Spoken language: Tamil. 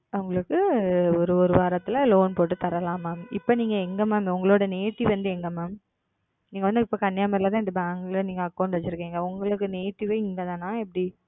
உங்களுக்கு ஒரு ஒரு வாரத்தில Loan போட்டு தரலாம் Ma'am. இப்போ நீங்க எங்க Ma'am உங்களோட Native வந்து எங்கே Ma'am? நீங்க வந்து இப்போ Kanniyakumari ல தான் இந்த Bank ல நீங்க Account வச்சுருக்கீங்க. உங்களுக்கு Native வே இங்க தானா இல்ல எப்படி?